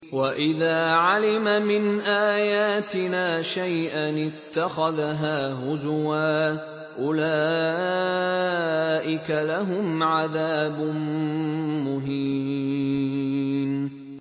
وَإِذَا عَلِمَ مِنْ آيَاتِنَا شَيْئًا اتَّخَذَهَا هُزُوًا ۚ أُولَٰئِكَ لَهُمْ عَذَابٌ مُّهِينٌ